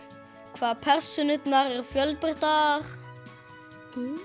hvað persónurnar eru fjölbreyttar